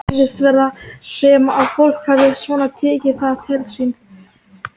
Pabbi Alla hafði lýst fyrir þeim leiðinni eftir lýsingu konunnar sjálfrar í símanum kvöldið áður.